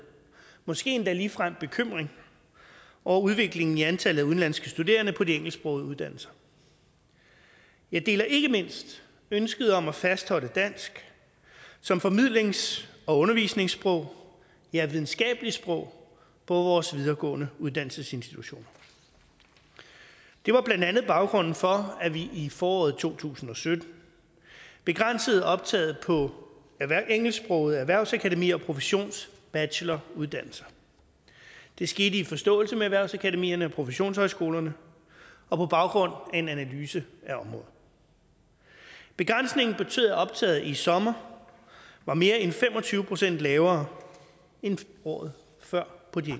måske endda ligefrem bekymring over udviklingen i antallet af udenlandske studerende på de engelsksprogede uddannelser jeg deler ikke mindst ønsket om at fastholde dansk som formidlings og undervisningssprog ja videnskabeligt sprog på vores videregående uddannelsesinstitutioner det var blandt andet baggrunden for at vi i foråret to tusind og sytten begrænsede optaget på engelsksprogede erhvervsakademier og professionsbacheloruddannelser det skete i forståelse med erhvervsakademierne og professionshøjskolerne og på baggrund af en analyse af området begrænsningen betød at optaget i sommer var mere end fem og tyve procent lavere end året før på de